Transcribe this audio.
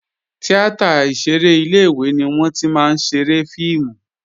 Tíátà ìṣeré ilé-ìwé ni wọ́n tí máa ń ṣeré fíìmù